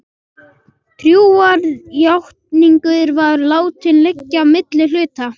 Trúarjátningin var látin liggja milli hluta.